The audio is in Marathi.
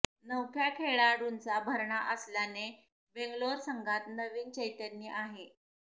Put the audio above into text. नवख्या खेळाडूंचा भरणा असल्याने बेंगलोर संघात नवीन चैतन्य आहे